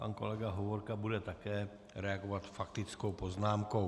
Pan kolega Hovorka bude také reagovat faktickou poznámkou.